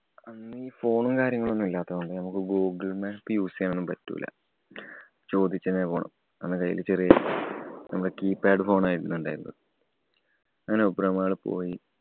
അന്നീ phone ഉം, കാര്യങ്ങളും ഒന്നും ഇല്ലാത്തതോണ്ട് നമുക്ക് google map use ചെയ്യാനൊന്നും പറ്റൂല. ചോദിച്ചന്നെ പോണം. അന്ന് കൈയില് ചെറിയ നമ്മടെ keypad phone ആയിരുന്നു ഉണ്ടായിരുന്നേത്. അങ്ങനെ obro mall പോയി.